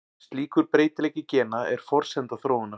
Slíkur breytileiki gena er forsenda þróunar.